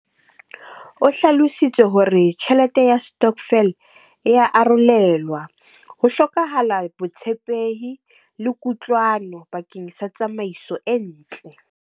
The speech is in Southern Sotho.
O hlalositse hore tjhelete ya stockvel e ya arolelwa, ho hlokahala botshepehi le kutlwano pakeng sa tsamaiso e ntle.